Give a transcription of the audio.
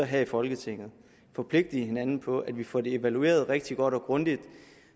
her i folketinget forpligte hinanden på at vi får det evalueret rigtig godt og grundigt